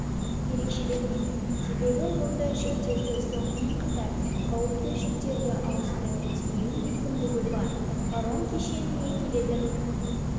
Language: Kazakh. ерекшеленеді себебі онда жүктерді сонымен қатар қауіпті жүктерді ауыстырып тиеу мүмкіндігі бар паром кешеніне келетін